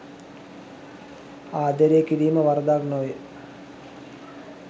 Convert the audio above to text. ආදරය කිරීම වරදක් නොවේ.